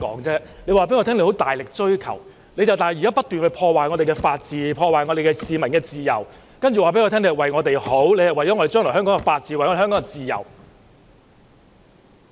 他們說大力追求法治，但現在卻不斷破壞法治，破壞市民的自由，然後說是為了我們好，為了香港將來的法治，為了香港的自由。